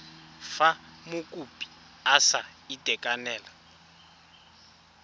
fa mokopi a sa itekanela